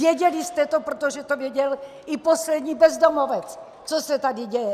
Věděli jste to, protože to věděl i poslední bezdomovec, co se tady děje!